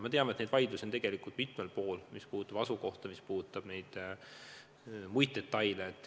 Me teame, et vaidlusi, mis puudutavad asukohta, mis puudutavad mitmeid detaile, on tegelikult mitmel pool.